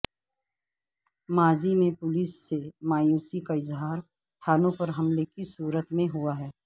ماضی میں پولیس سے مایوسی کا اظہار تھانوں پر حملے کی صورت میں ہوا ہے